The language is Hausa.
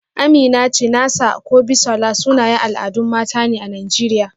Amina, Chinasa ko Bisola, sunayen al'adun mata ne a Najeriya.